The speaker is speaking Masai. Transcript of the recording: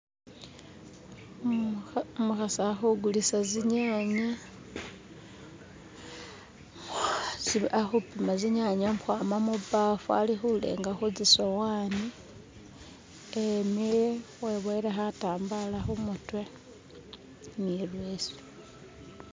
Umukhasi ali khugulisa tsinyanya umukhasi ali khupima tsinyanya akwama mubafu alikhulenga khutsisowani emele eboyele khatambala khumutwe ni leso.